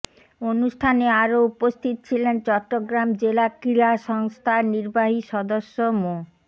অনুষ্ঠানে আরো উপস্থিত ছিলেন চট্টগ্রাম জেলা ক্রীড়া সংস্থার নির্বাহী সদস্য মো